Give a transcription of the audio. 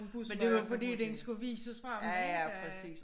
Men det var jo fordi den skulle vises frem ik